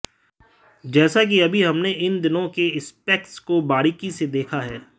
जैसा कि अभी हमने इन दोनों के स्पेक्स को बारीकी से देखा है